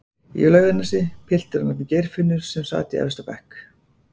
í Laugarnesi, piltur að nafni Geirfinnur sem sat í efsta bekk